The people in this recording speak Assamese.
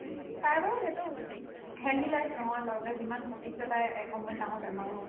তাইৰ বাৰু সেইটো ওব healthy life নহয় বাৰু তাই যিমান ঘটিছে তাইৰ এসময়ত ডাঙৰ বেমাৰ হ'ব